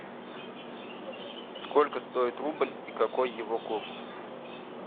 сколько стоит рубль и какой его курс